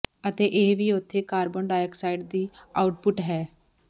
ਅਤੇ ਇਹ ਵੀ ਉਥੇ ਕਾਰਬਨ ਡਾਈਆਕਸਾਈਡ ਦੀ ਆਉਟਪੁੱਟ ਹੈ